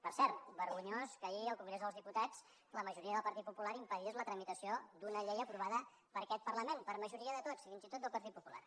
per cert vergonyós que ahir al congrés dels diputats la majoria del partit popular impedís la tramitació d’una llei aprovada per aquest parlament per majoria de tots fins i tot del partit popular